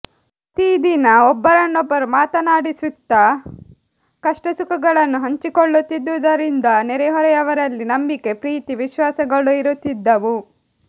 ಪ್ರತಿದಿನ ಒಬ್ಬೊರನ್ನೊಬ್ಬರು ಮಾತನಾಡಿಸುತ್ತಾ ಕಷ್ಟಸುಖಗಳನ್ನು ಹಂಚಿಕೊಳ್ಳುತ್ತಿದ್ದುದರಿಂದ ನೆರೆಹೊರೆಯವರಲ್ಲಿ ನಂಬಿಕೆ ಪ್ರೀತಿ ವಿಶ್ವಾಸಗಳಿರುತ್ತಿದ್ದವು